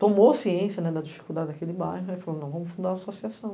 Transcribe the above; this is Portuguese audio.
Tomou ciência da dificuldade daquele bairro e falou, não, vamos fundar uma associação.